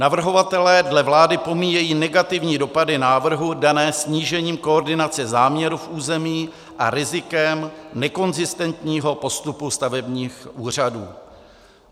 Navrhovatelé dle vlády pomíjejí negativní dopady návrhu dané snížením koordinace záměru v území a rizikem nekonzistentního postupu stavebních úřadů.